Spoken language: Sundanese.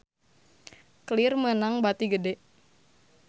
Clear meunang bati gede